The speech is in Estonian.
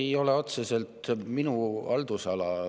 See ei ole otseselt minu haldusala.